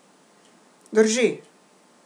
Drži.